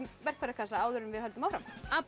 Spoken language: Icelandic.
verkfærakassa áður en við höldum áfram